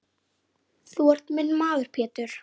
Þú ert minn maður Pétur.